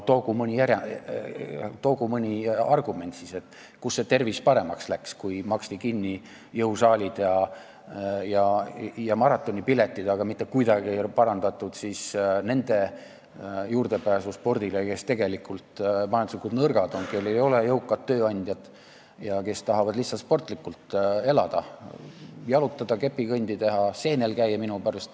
No toogu mõni argument siis, kus see tervis paremaks läks, kui maksti kinni jõusaalid ja maratonipiletid, aga mitte kuidagi ei ole parandatud nende juurdepääsu spordile, kes tegelikult on majanduslikult nõrgad, kellel ei ole jõukat tööandjat ja kes tahavad lihtsalt sportlikult elada – jalutada, kepikõndi teha, seenel käia minu pärast.